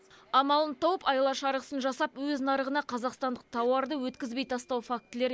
амалын тауып айла шарғысын жасап өз нарығына қазақстандық тауарды өткізбей тастау фактілері